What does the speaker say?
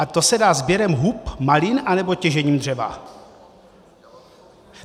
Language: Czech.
A to se dá sběrem hub, malin anebo těžením dřeva?